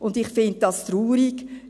Und ich finde das traurig.